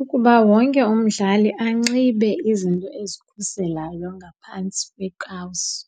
Ukuba wonke umdlali anxibe izinto ezikhuselayo ngaphantsi kweekawusi